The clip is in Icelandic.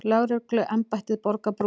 Lögregluembættið borgar brúsann.